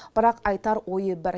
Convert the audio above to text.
бірақ айтар ойы бір